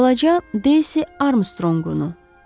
Balaca Daisy Armstrongunu.